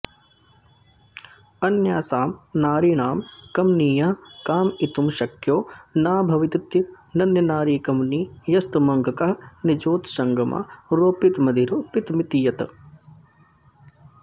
अन्यासां नारीणां कमनीयः कामयितुं शक्यो न भवतीत्यनन्यनारीकमनीयस्तमङ्कं निजोत्सङ्गमारोपितमधिरोपितमिति यत्